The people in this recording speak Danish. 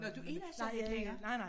Nåh du er der slet ikke længere?